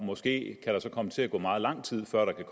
måske kan komme til at gå meget lang tid før der kan